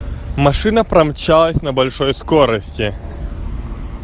машина промчалась на большой скорости